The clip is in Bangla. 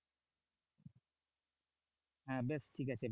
হ্যাঁ বেশ ঠিক আছে।